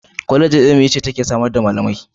Kwallejin ilimi ce take samar da malamai.